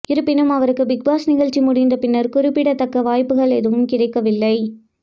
இருப்பினும் அவருக்கு பிக்பாஸ் நிகழ்ச்சி முடிந்தபின்னர் குறிப்பிடத்தக்க வாய்ப்புகள் எதுவும் கிடைக்கவில்லை